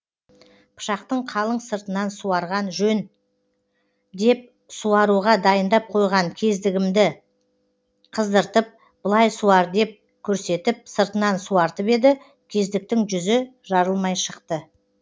пышақтың қалың сыртынан суарған жөн деп суаруға дайындап қойған кездігімді қыздыртып былай суар деп көрсетіп сыртынан суартып еді кездіктің жүзі жарылмай шықты